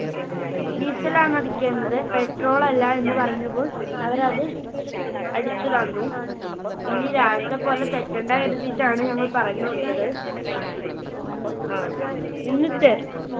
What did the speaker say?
Diesel ആണ് അടിക്കേണ്ടത് Petrol ളല്ല എന്ന് പറഞ്ഞപ്പോൾ അവര് അത് അടിച്ച് തന്നു. ഇനി രാവിലത്തെ പോലെ തെറ്റണ്ട കരുതിയിട്ടാണ് ഞങ്ങൾ പറഞ്ഞു കൊടുത്തത്. എന്നിട്ട്